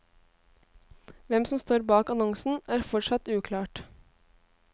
Hvem som står bak annonsen, er fortsatt uklart.